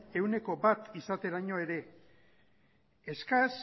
ehuneko bat izateraino ere eskas